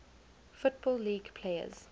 football league players